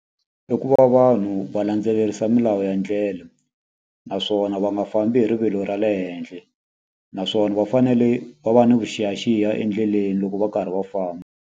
I ku va vanhu va landzelerisa milawu ya ndlela, naswona va nga fambi hi rivilo ra le henhla. Naswona va fanele va va ni vuxiyaxiya endleleni loko va karhi va famba.